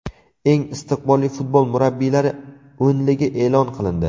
Eng istiqbolli futbol murabbiylari o‘nligi e’lon qilindi.